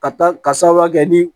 Ka taa ka sababuya kɛ ni